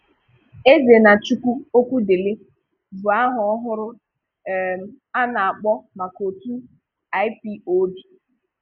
Ezenachukwu Okwudili bụ àha ọhụrụ um a na-akpọ maka otu IPOB.